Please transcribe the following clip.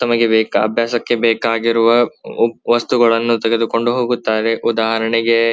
ತಮಗೆ ಅಭ್ಯಾಸಕ್ಕೆ ಬೇಕಾಗಿರುವ ವಸ್ತುಗಳನ್ನು ತೆಗೆದುಕೊಂಡು ಹೋಗುತ್ತಾರೆ ಉದಾಹರಣೆಗೆ --